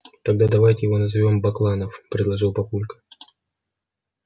тогда давайте его назовём бакланов предложил папулька